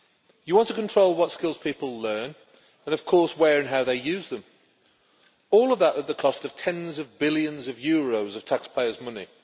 You want to control what skills people learn, and of course where and how they use them, all of that at the cost of tens of billions of euros of taxpayers' money.